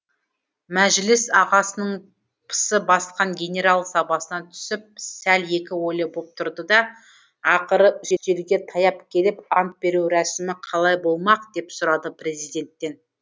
мәжіліс ағасының пысы басқан генерал сабасына түсіп сәл екі ойлы боп тұрды да ақыры үстелге таяп келіп ант беру рәсімі қалай болмақ деп сұрады президенттен